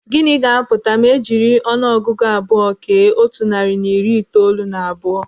Gịnị ga-apụta ma ejiri ọnụ ọgụgụ abụọ kee otu narị na iri itoolu na abụọ?